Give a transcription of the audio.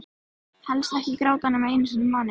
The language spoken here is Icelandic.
Helst ekki gráta nema einu sinni í mánuði.